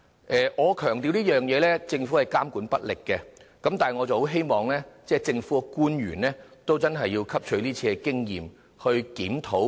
我要強調，政府的確監管不力，我十分希望政府官員能汲取今次經驗進行檢討。